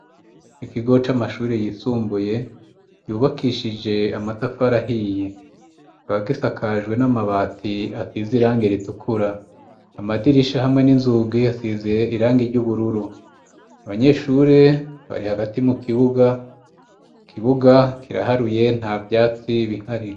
ikigo c'amashuri yisumbuye yubakishije amatafari ahiye ba gisakajwe n'amabati asize irange ritukura amadirisha hamwe n'inzugi asize irangi ry'ubururu abanyeshuri bari hagati mu kibuga kibuga kiraharuye nta byatsi bihari